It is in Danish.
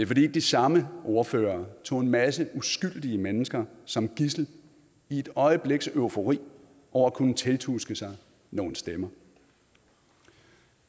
fordi de samme ordførere tog en masse uskyldige mennesker som gidsel i et øjebliks eufori over at kunne tiltuske sig nogle stemmer